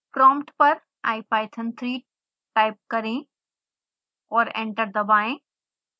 prompt पर ipython3 type करें और एंटर दबाएं